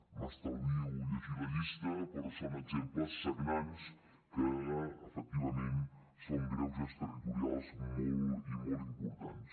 m’estalvio llegir la llista però són exemples sagnants que efectivament són greuges territorials molt i molt importants